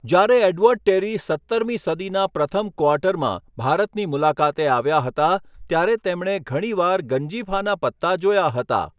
જ્યારે Edward Terry સત્તરમી સદીના પ્રથમ ક્વાર્ટરમાં ભારતની મુલાકાતે આવ્યા હતા ત્યારે તેમણે ઘણીવાર ગંજીફાના પત્તા જોયા હતા.